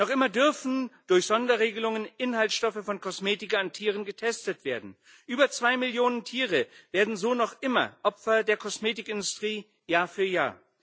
Noch immer dürfen durch Sonderregelungen Inhaltsstoffe von Kosmetika an Tieren getestet werden. Über zwei Millionen Tiere werden so noch immer Opfer der Kosmetikindustrie, Jahr für Jahr.